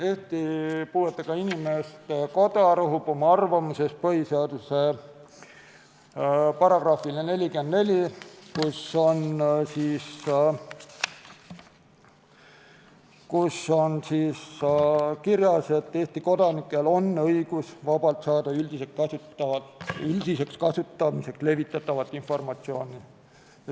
Eesti Puuetega Inimeste Koda rõhub oma arvamuses põhiseaduse §-le 44, kus on kirjas, et Eesti kodanikel on õigus vabalt saada üldiseks kasutamiseks levitatavat informatsiooni.